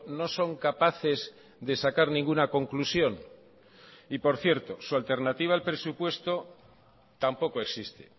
no son capaces de sacar ninguna conclusión y por cierto su alternativa al presupuesto tampoco existe